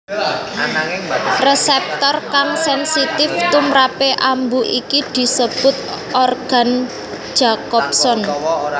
Resèptor kang sènsitif tumprapé ambu iki disebut organ Jacobson